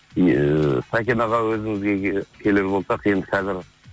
ыыы сәкен аға өзіңізге келер болсақ енді қазір